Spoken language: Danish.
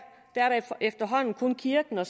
efterhånden kun kirken og